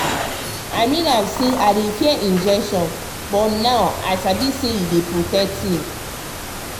i mean am before i dey fear injection but now i sabi say e dey protect me.